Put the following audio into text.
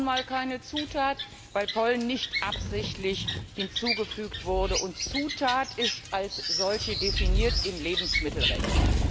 Er ist nun mal keine Zutat, weil Pollen nicht absichtlich hinzugefügt wurde, und Zutat ist als solche definiert im Lebensmittelrecht.